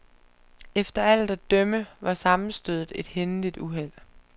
Efter alt at dømme var sammenstødet et hændeligt uheld.